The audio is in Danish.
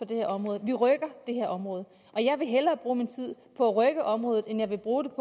det her område vi rykker det her område jeg vil hellere bruge min tid på at rykke området end jeg vil bruge